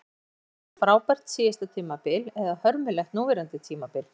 Hvort vegur þyngra, frábært síðasta tímabil eða hörmulegt núverandi tímabil?